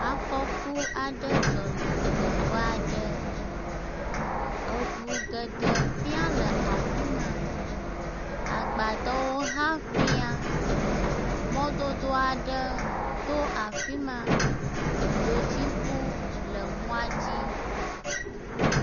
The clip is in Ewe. Afɔku aɖe dzɔ le teƒe aɖe. Eŋu geɖe fia le afi ma. Agbadɔwo hã fia. Mɔdodo aɖe to afi ma. Dzotsiŋu le mɔa dzi.